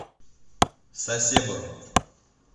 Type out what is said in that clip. сасебо